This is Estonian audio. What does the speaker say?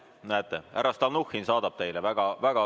Näete, härra Stalnuhhin saadab teile.